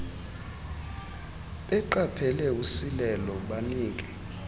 beqaphele usilelo banike